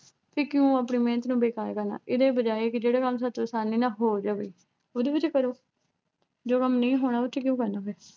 ਫਿਰ ਕਿਉਂ ਆਪਣੀ ਮਿਹਨਤ ਨੂੰ ਬੇਕਾਰ ਕਰਨਾ ਇਹਦੇ ਬਜਾਏ ਕਿ ਜਿਹੜਾ ਕੰਮ ਸਾਥੋਂ ਅਸਾਨੀ ਨਾਲ ਹੋ ਜਵੇ ਉਹਦੇ ਵਿੱਚ ਕਰੋ ਜੋ ਕੰਮ ਨਹੀਂ ਹੋਣਾ ਉਹਦੇ ਵਿੱਚ ਕਿਉਂ ਕਰਨਾ ਫਿਰ